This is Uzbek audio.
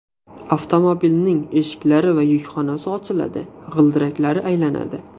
Avtomobilning eshiklari va yukxonasi ochiladi, g‘ildiraklari aylanadi.